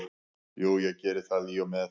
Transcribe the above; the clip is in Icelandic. Jú, ég geri það í og með.